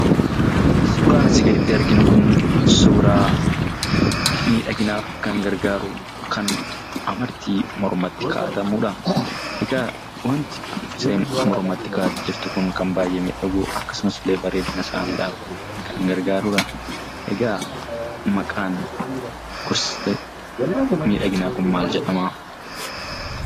Suuraan asii gaditti arginu kun suuraa miidhaginaaf kan gargaaru kan amartii mormatti kaa'atamudha. Egaa isheen mormatti kaa'attee jirtu kun kan baay'ee miidhagu akkasumas bareedina isaaniidhaaf kan gargaarudha. Egaa maqaan gosti miidhaginaa kanaa maal jedhama?